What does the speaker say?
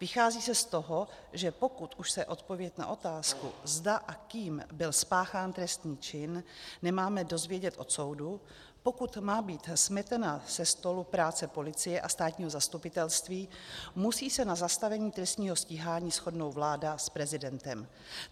Vychází se z toho, že pokud už se odpověď na otázku, zda a kým byl spáchán trestný čin, nemáme dozvědět od soudu, pokud má být smetena se stolu práce policie a státního zastupitelství, musí se na zastavení trestního stíhání shodnout vláda s prezidentem.